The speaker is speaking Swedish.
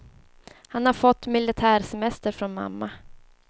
Han har fått militär semester från mamma.